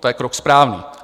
To je krok správný.